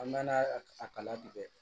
An mɛna a kala tigɛ